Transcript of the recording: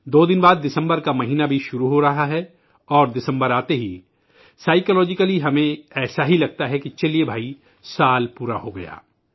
دو دن بعد دسمبر کا مہینہ بھی شروع ہو رہا ہے اور دسمبر آتے ہی نفسیاتی طور پر ہمیں لگتا ہے کہ چلئے بھائی سال پورا ہو گیا ہے